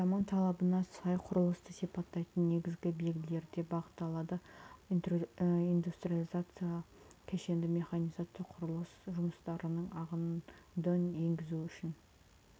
заман талабына сай құрылысты сипаттайтын негізгі белгілерде бағытталады индустриализация кешенді механизация құрылыс жұмыстарының ағынды енгізуі үшін